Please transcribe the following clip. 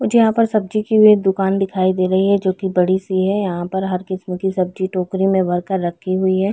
मुझे यहाँ पर सब्जी की वे दुकान दिखाई दे रही है जो की बड़ी सी है। यहाँ पर हर किस्म की सब्जी टोकरी में भर के रखी हुई है।